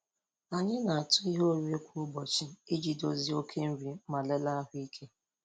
Anyị na-atụ ihe oriri kwa ụbọchị iji dozie oke nri ma lelee ahụike.